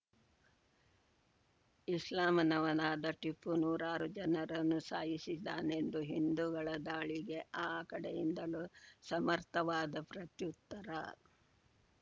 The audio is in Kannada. ಇಸ್ಲಾಂನವನಾದ ಟಿಪ್ಪು ನೂರಾರು ಜನರನ್ನು ಸಾಯಿಸಿದ್ದಾನೆಂದು ಹಿಂದುಗಳ ದಾಳಿಗೆ ಆ ಕಡೆಯಿಂದಲೂ ಸಮರ್ಥವಾದ ಪ್ರತ್ಯುತ್ತರ